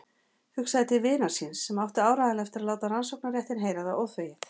Hugsaði til vinar síns sem átti áreiðanlega eftir að láta rannsóknarréttinn heyra það óþvegið.